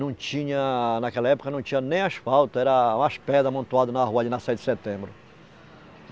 Não tinha, naquela época, não tinha nem asfalto, eram umas pedras amontoadas na rua ali na sete de setembro.